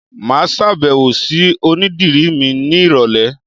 Màá sàbẹ̀wò sí onídìrí mi ní ìrọ̀lẹ̀